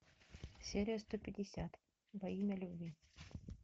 серия сто пятьдесят во имя любви